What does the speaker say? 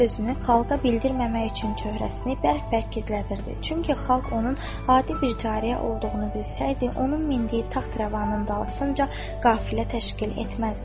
O özünü xalqa bildirməmək üçün cöhrəsini bərk-bərk gizlədirdi, çünki xalq onun adi bir cariyə olduğunu bilsəydi, onun mindiyi taxt-rəvanın dalısınca qafilə təşkil etməzdi.